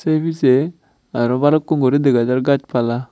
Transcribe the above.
sei pijey aro balukku guri dega jar gaj pala.